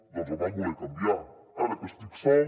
doncs el van voler canviar ara que estic sol